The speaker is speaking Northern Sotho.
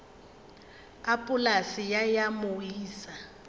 a polase ye ya moisa